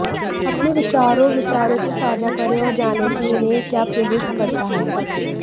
अपने विचारों और विचारों को साझा करें और जानें कि उन्हें क्या प्रेरित करता है